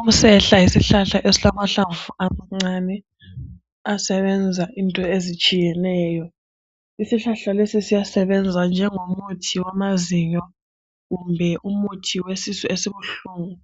Umsehla yisihlahla esilamahlamvu amancane asebenza into ezitshiyeneyo. Isihlahla lesi siyasebenza njengomuthi wamazinyo kumbe umuthi owesisu esibuhlungu,